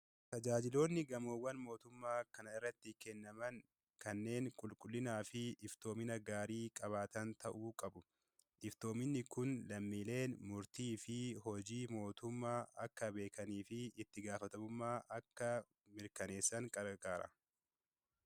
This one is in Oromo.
Tajaajiloonni gamoowwan mootummaa kana irratti kennaman kanneen qulqullinaa fi iftoomina gaarii qabaatan ta'uu qabu. Iftoominni kun lammiileen murtii fi hojii mootummaa akka beekanii fi itti gaafatamummaa akka mirkaneessan kan gargaarudha.